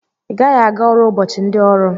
Igaghi aga ọrụ ụbọchi ndi ọrụ!!